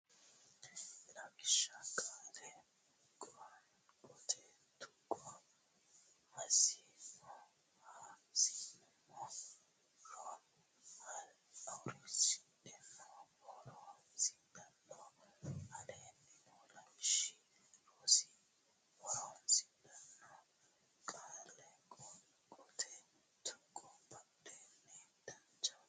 Lawishsha Qaale Qoonqote Tuqqo hasiinsummoro ha siin sum mo ro horonsidhanno ho roon si dhan no Aleenni noo lawishshi Rsn ho ron si dhan no qaalla qoonqote tuqqonni babbande Danchaho.